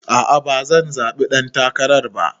A'a bazan zaɓi ɗan takararka ba.